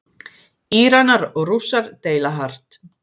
Íranar og Rússar deila hart